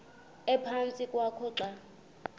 ephantsi kwakho xa